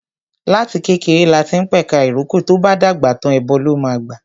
Láti kékeré lati ń p'ẹ̀ka ìrókò, tó'bá dàgbà tàń, ẹbọ ló máa gbà